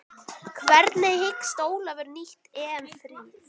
Hvernig hyggst Ólafur nýta EM fríið?